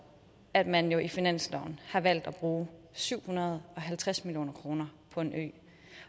at man i finansloven har valgt at bruge syv hundrede og halvtreds million kroner på en ø